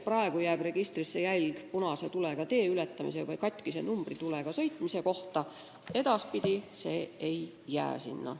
Praegu jääb registrisse jälg punase tulega tee ületamise või katkise numbritulega sõitmise kohta, edaspidi see nii ei ole.